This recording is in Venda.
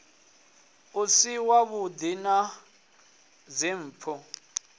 u si wavhuḓi na dzimpfu